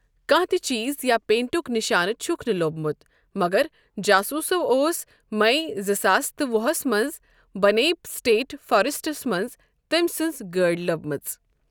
کانٛہہ تہِ چیٖز یا پینٹک نِشانہٕ چھُکھ نہٕ لوٚبمُت، مگر جاسوٗسَو اوس مئی زٕ ساس تہٕ وُہَس منٛز بنیپ سٹیٹ فارسٹَس منٛز تٔمۍ سٕنٛز گٲڑۍ لٔبمٕژ۔